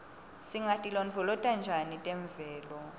singatilondvolota njani temvelo